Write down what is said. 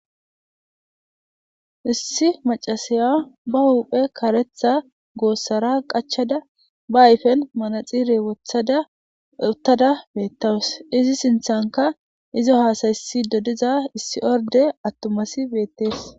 Issi maccasiya ba huphe kareththa goosera qachchada,ba ayfen manaxire wothada uttada beetawus. Izi sinthenka izo haasa'isidi diza issi irde atuma asay beetees.